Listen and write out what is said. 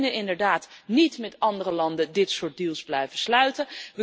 We kunnen inderdaad niet met andere landen dit soort deals blijven sluiten.